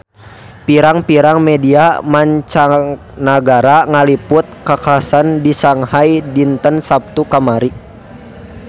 Pirang-pirang media mancanagara ngaliput kakhasan di Shanghai dinten Saptu kamari